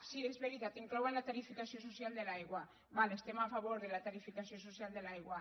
sí és veritat inclouen la tarifació social de l’aigua d’acord estem a favor de la tarifació social de l’aigua